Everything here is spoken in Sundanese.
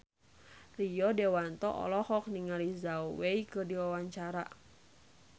Rio Dewanto olohok ningali Zhao Wei keur diwawancara